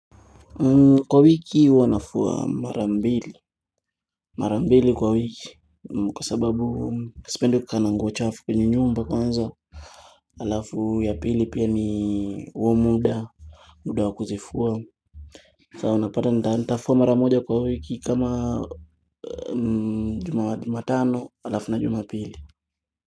Kwa wiki wanafua mara mbili. Marambili kwa wiki. Kwa sababu sipendi kukaa na nguo chafu kwenye nyumba kwanza. Alafu ya pili pia ni huo muda. Muda wa kuzifua. So unapata nitafua mara moja kwa wiki kama Jumatano, alafu na Jumapili.